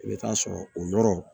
I bɛ taa sɔrɔ o yɔrɔ